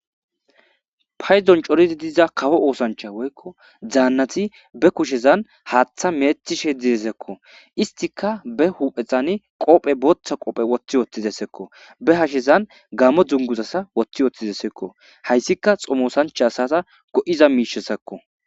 Ha isson coridi diza kawo oosanchata woyko danati ba kushezan haaththa metsishe de'is. Istika ba huphphen qobbe bootha qobbe wottishe de'is. Ba hasheezan gaamo dunguza wottishe de'is. Ha issika tsomosancha asata go'iza mishe bessees.